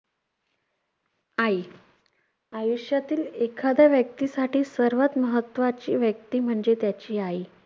'आई' आयुष्यातील एखाद्या व्यक्तीसाठी सर्वात महत्त्वाची व्यक्ती म्हणजे त्याची आई.